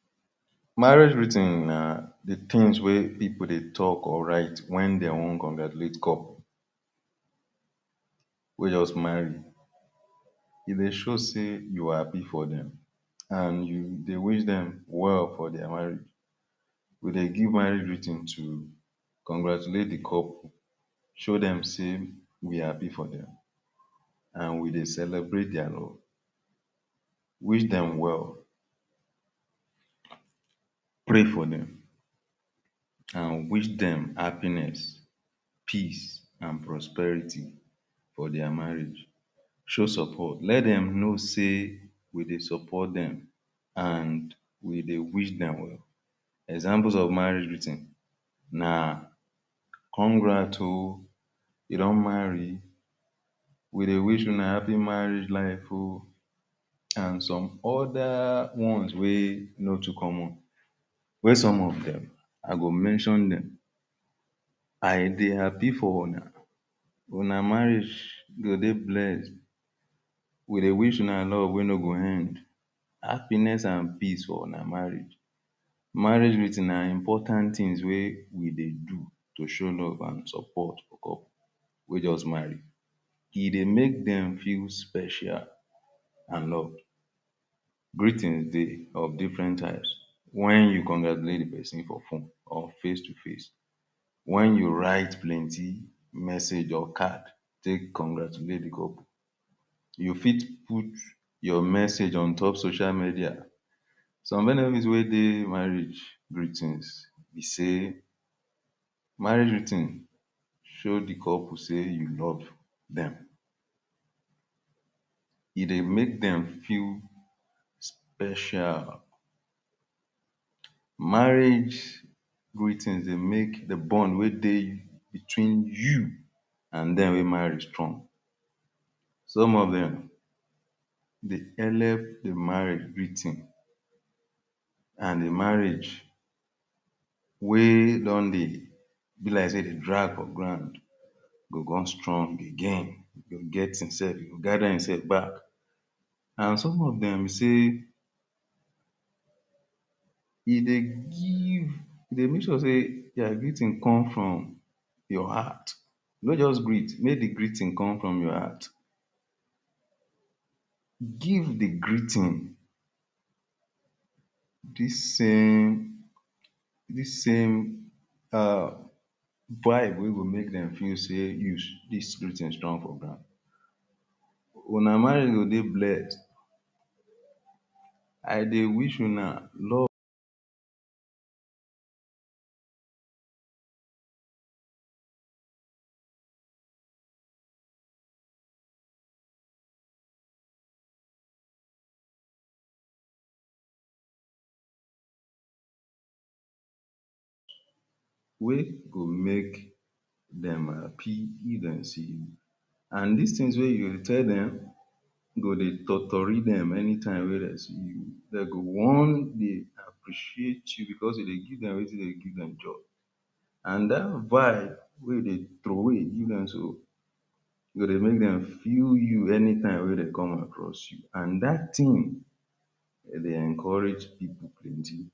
To prepare for di day, na to set body and mind well so dat everything go go smoothly. See some example wey you fit follow: One, Wake up early. No be to rush rush wake up but make body get enough time to prepare well. Two, ⁠ Pray or meditate. Some people go thank God, some go just reason life small before dem start di day. E dey help put mind for better place. Three, ⁠ Brush and bath to freshen body so you go feel clean and active na from here confidence go start Four, Chop small food. Even if na tea or bread, e go give energy for di day. No be good idea to start day with empty belle. Five, Arrange your day. E good make you know wetin you wan do for di day. Some people dey write to-do list for di day, others go just arrange them for their mind. Six, wear better cloth. No matter where you dey go, make sure say your dressing make sense. If you dey house still wear something wey go make you feel good. Seven, check bag or pocket. If you dey go work or anywhere, check say you carry everything wey you need. Some things like phone, money, key, ID Card or anything wey dey important. Sight, Put better mindset. No matter how e be, tell yourself say today go better. Positive mind go make things easy. Nine, Step out with confidence, no dull yourself, waka with ginger and face di day like say you be boss. These na some ways wey fit help you enjoy a smooth day.